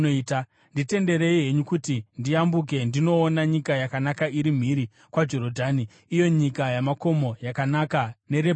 Nditenderei henyu kuti ndiyambuke ndinoona nyika yakanaka iri mhiri kwaJorodhani, iyo nyika yamakomo yakanaka neRebhanoni.”